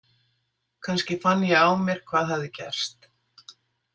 Kannski fann ég á mér hvað hafði gerst.